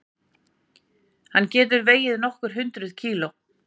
Hann getur vegið nokkur hundruð kíló.